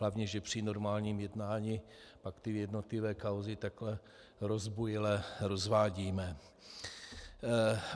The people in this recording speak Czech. Hlavně, že při normálním jednání pak ty jednotlivé kauzy takhle rozbujele rozvádíme.